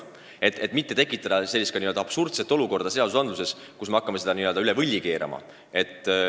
Me ei taha seadusandluses tekitada sellist absurdset olukorda, hakates kruvisid üle vindi keerama.